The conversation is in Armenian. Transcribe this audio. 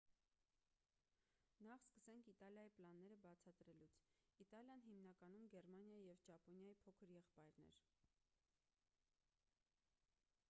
նախ սկսենք իտալիայի պլանները բացատրելուց իտալիան հիմնականում գերմանիայի և ճապոնիայի փոքր եղբայրն էր